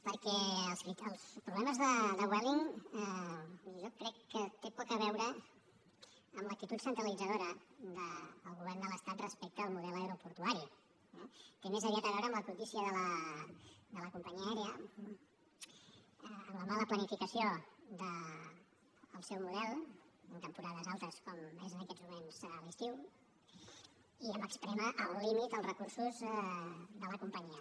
perquè els problemes de vueling jo crec que tenen poc a veure amb l’actitud centralitzadora del govern de l’estat respecte al model aeroportuari eh té més aviat a veure amb la cobdícia de la companyia aèria amb la mala planificació del seu model en temporades altes com és en aquests moments l’estiu i amb esprémer al límit els recursos de la companyia